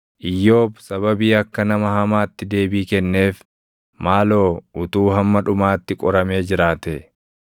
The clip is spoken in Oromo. Iyyoob sababii akka nama hamaatti deebii kenneef maaloo utuu hamma dhumaatti qoramee jiraatee!